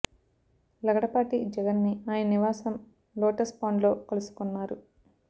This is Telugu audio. లగడపాటి జగన్ ని ఆయన నివాసం లోటస్ పాండ్ లో కలుసుకున్నారు